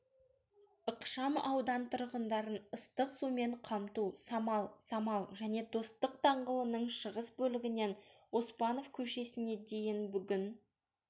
ықшам аудан тұрғындарын ыстық сумен қамту самал самал және достық даңғылының шығыс бөлігінен оспанов көшесіне дейінбүгін